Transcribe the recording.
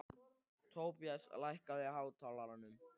Tobías, lækkaðu í hátalaranum.